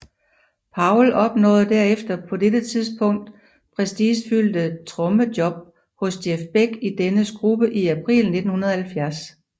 Powell opnåede derefter det på dette tidspunkt prestigefyldte trommejob hos Jeff Beck i dennes gruppe i april 1970